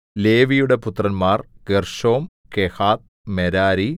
ലേവിയുടെ പുത്രന്മാർ Gershom Kohath Merari